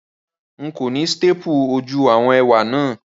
Rárá, n kò ni staple ojú àwon ẹwé náà